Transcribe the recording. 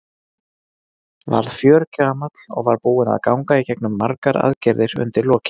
Varð fjörgamall og var búinn að ganga í gegnum margar aðgerðir undir lokin.